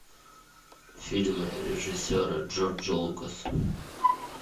фильмы режиссера джорджа лукаса